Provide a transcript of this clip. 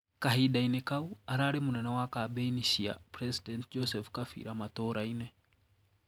Kahindaini kau, arari munene wa kabeni cia President Joseph Kabila matũraini.